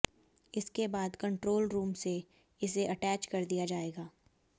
इसके बाद control room से इसे अटैच कर दिया जाएगा